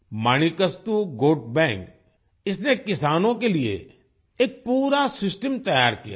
Manikastu goat bank इसने किसानों के लिए एक पूरा सिस्टम तैयार किया है